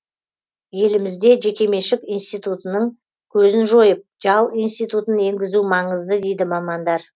елімізде жекеменшік институтының көзін жойып жал институтын енгізу маңызды дейді мамандар